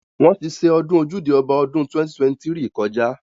Wóṇ ti ṣe ọdún Ojúde Ọba ọdún 2023 kọjá.